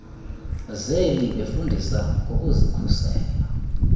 zeli befundisa ngokuzikhusela